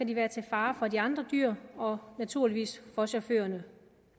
de være til fare for de andre dyr og naturligvis for chaufførerne